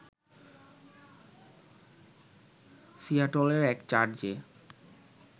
সিয়াটলের এক চার্চে